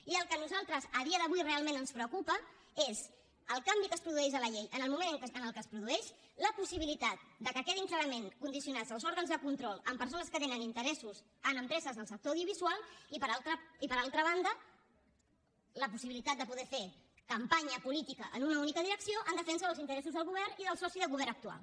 i el que a nosaltres a dia d’avui realment ens preocupa és el canvi que es produeix de la llei en el moment en què es produeix la possibilitat que quedin clarament condicionats els òrgans de control a persones que tenen interessos en empreses del sector audiovisual i per altra banda la possibilitat de poder fer campanya política en una única direcció en defensa dels interessos del govern i del soci de govern actual